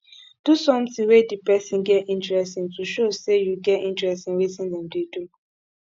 do something wey di person get interest in to show sey you get interest in wetin dem dey do